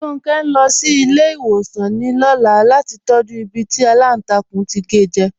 Ronke n lọ sí ilẹ̀-iṣẹ̀wosan ní ọ̀là lati tọ̀jú ìbí tí alántàkùn to ke jẹ.